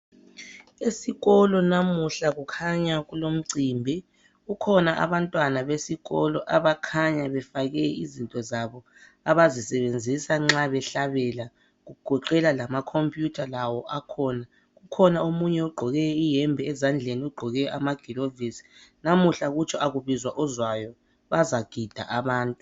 Esikolo namuhla kukhanya kulomcimbi. Kukhona abantwana besikolo, abakhanya befake izinto zabo abazisebenzisa nxa behlabela. Kugoqela lamacomputer, lawo akhona. Kukhona omunye ogqoke iyembe. Ezandleni, ugqoke amagilovisi. Lamuhla, kutsho kakubizwa ozwayo. Bazagida abantu.